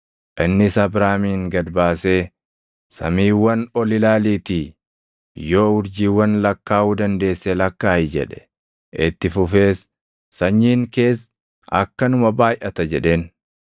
Innis Abraamin gad baasee, “Samiiwwan ol ilaaliitii yoo urjiiwwan lakkaaʼuu dandeesse lakkaaʼi” jedhe. Itti fufees, “Sanyiin kees akkanuma baayʼata” jedheen.